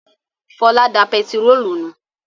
Fọlá da pẹtírólù nù.